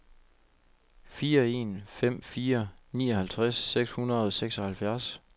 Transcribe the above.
fire en fem fire nioghalvtreds seks hundrede og seksoghalvfjerds